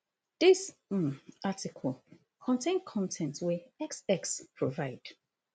dis um article contain con ten t wey x x provide